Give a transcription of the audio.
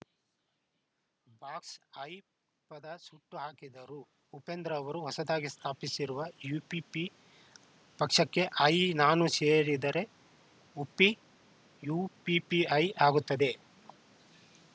box I ಪದ ಸುಟ್ಟು ಹಾಕಿದರು ಉಪೇಂದ್ರ ಅವರು ಹೊಸದಾಗಿ ಸ್ಥಾಪಿಸಿರುವ ಯುಪಿಪಿ ಪಕ್ಷಕ್ಕೆ ಐ ನಾನು ಸೇರಿಸಿದರೆ ಉಪ್ಪಿ ಯುಪಿಪಿಐ ಆಗುತ್ತದೆ